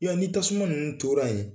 Ya ni tasuma ninnu tora ye